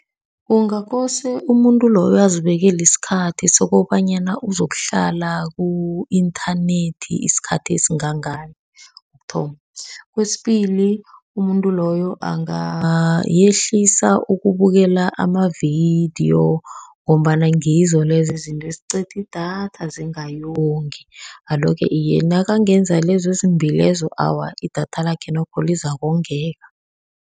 Kungakose umuntu loyo azibekele isikhathi sokobanyana uzokuhlala ku-inthanethi isikhathi esingangani kokuthoma. Kwesibili, umuntu loyo angehlisa ukubukela amavidiyo, ngombana ngizo lezo izinto eziqeda idatha, zingayongi. Alo-ke, iye nakangenza lezo ezimbili lezo, awa, idatha lakhe nokho lizakongeka.